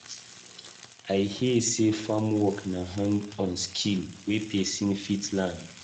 I hear sey farm work na hand-on skill wey pesin fit learn.